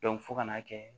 fo ka n'a kɛ